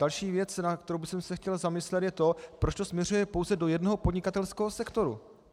Další věc, nad kterou bych se chtěl zamyslet, je to, proč to směřuje pouze do jednoho podnikatelského sektoru.